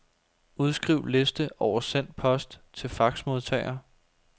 Udskriv liste over sendt post til faxmodtager.